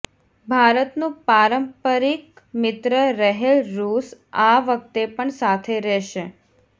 ભારતનું પારંપરિક મિત્ર રહેલ રૂસ આ વખતે પણ સાથે રહેશે